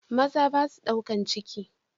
Maza basua ɗaukan ciki.